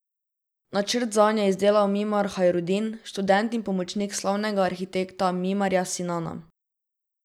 Načrt zanj je izdelal Mimar Hajrudin, študent in pomočnik slavnega arhitekta Mimarja Sinana.